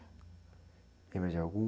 Lembra de algum?